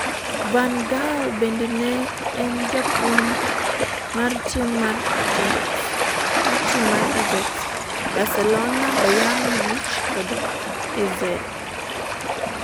Van Gaal bende ne en japuonj mar tim mar Ajax, Barcelona, ​​Bayern Munich kod AZ.